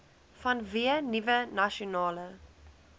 vanweë nuwe nasionale